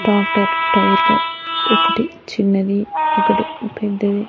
Tractor టైర్లు ఒకటి చిన్నది ఒకటి పెద్దది.